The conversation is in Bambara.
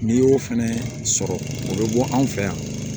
N'i y'o fɛnɛ sɔrɔ o bɛ bɔ anw fɛ yan